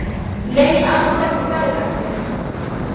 Nei, alls ekki, sagði Ragnheiður.